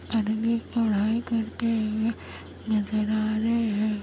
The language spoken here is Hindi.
आननी पढ़ाई करते हुए नजर आ रहे हैं।